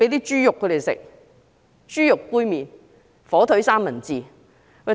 是豬肉，豬肉杯麵、火腿三文治。